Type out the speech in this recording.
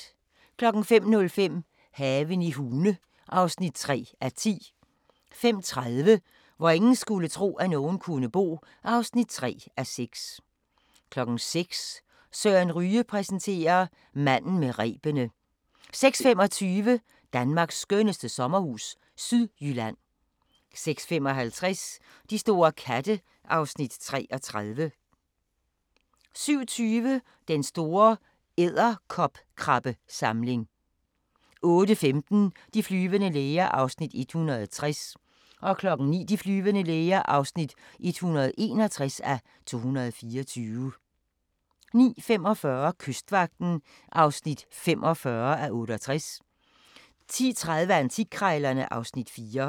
05:05: Haven i Hune (3:10) 05:30: Hvor ingen skulle tro, at nogen kunne bo (3:6) 06:00: Søren Ryge præsenterer: Manden med rebene 06:25: Danmarks skønneste sommerhus – Sydjylland 06:55: De store katte (Afs. 33) 07:20: Den store edderkopkrabbesamling 08:15: De flyvende læger (160:224) 09:00: De flyvende læger (161:224) 09:45: Kystvagten (45:68) 10:30: Antikkrejlerne (Afs. 4)